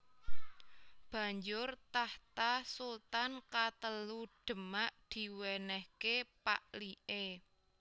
Banjur tahta sultan katelu Demak diwènèhké pak liké